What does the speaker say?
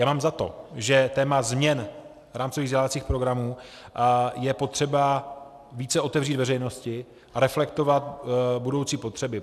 Já mám za to, že téma změn rámcových vzdělávacích programů je potřeba více otevřít veřejnosti a reflektovat budoucí potřeby.